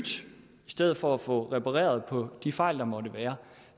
stedet for at få repareret på de fejl der måtte være